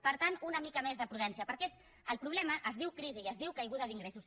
per tant una mica més de prudència perquè el problema es diu crisi i es diu caiguda d’ingressos